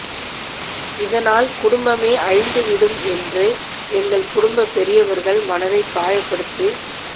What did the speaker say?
இதனால் குடும்பமே அழிந்துவிடும் என்று எங்கள் குடும்பப் பெரியவர்கள் மனதை காயப்படுத்து